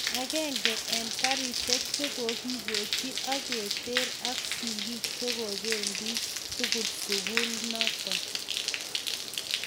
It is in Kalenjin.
Agenge en garishek chekokipoyi ak keter aksigik chengopenin tugul sukul naton